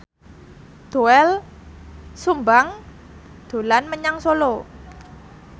Doel Sumbang dolan menyang Solo